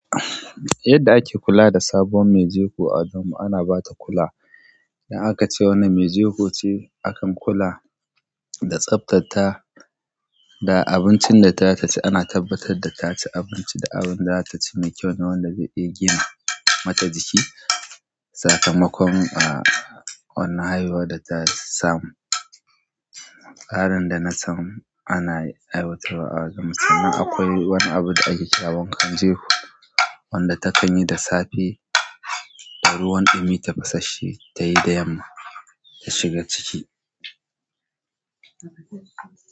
Yadda ake kula da sabuwar mai jego a wajenmu ana bata kula, idan aka ce wanda mai jego ce akan kula da tsaftata da abincin da za ta ci. Ana tabbatar da ta ci abinci da abin da za ta ci mai kyau na wanda zai iya gina mata jiki. Sakamakon wannan haihuwar da ta samu tsarin da na san ana aiwatar wa a wajenmu sannan akwai wani abu da ake kira wankan jego wanda takan yi da safe da ruwan ɗumi ta fasasshe tayi da yamma ta shiga ciki.